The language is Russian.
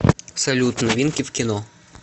салют новинки в кино